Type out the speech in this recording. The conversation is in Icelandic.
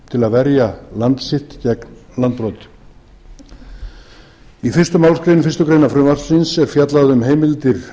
til að verja land sitt gegn landbroti í fyrstu málsgrein fyrstu grein frumvarpsins er fjallað um heimildir